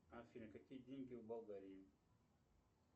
афина какие деньги в болгарии